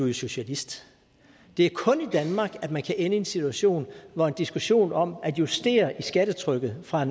jo socialist det er kun i danmark at man kan ende i en situation hvor en diskussion om at justere skattetrykket fra